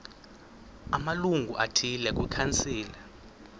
amalungu athile kwikhansile